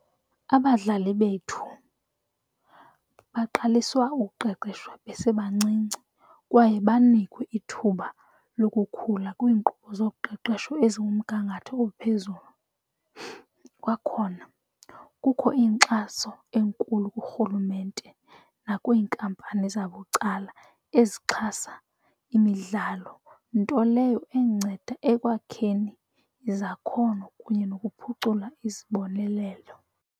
Abadlali bethu baqaliswa ukuqeqeshwa besebancinci kwaye banikwe ithuba lokukhula kwiinkqubo zoqeqesho ezikumgangatho ophezulu. Kwakhona kukho inkxaso enkulu kurhulumente nakwiinkampani zabucala ezixhasa imidlalo, nto leyo enceda ekwakheni izakhono kunye nokuphucula izibonelelo.